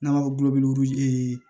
N'an b'a fɔ